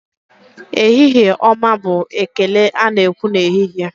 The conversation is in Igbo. Ehihie ọma bụ ekele ana ekwu n'ehihie.